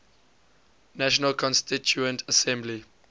national constituent assembly